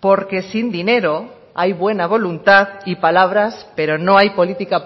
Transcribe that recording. porque sin dinero hay buena voluntad y palabras pero no hay política